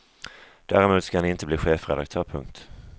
Däremot ska han inte bli chefredaktör. punkt